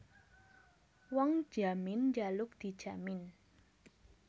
Wong njamin njaluk dijamin